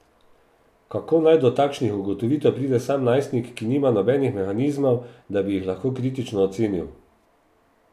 Kako naj do takšnih ugotovitev pride sam najstnik, ki nima nobenih mehanizmov, da bi jih lahko kritično ocenil?